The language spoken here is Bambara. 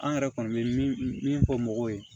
An yɛrɛ kɔni bɛ min min fɔ mɔgɔw ye